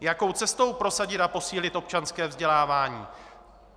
Jakou cestou prosadit a posílit občanské vzdělávání?